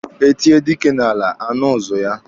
E tie dike n'ala, a nụ ụzụ ya.